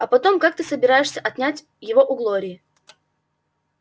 а потом как ты собираешься отнять его у глории